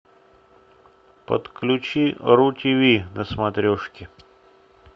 подключи ру тв на смотрешке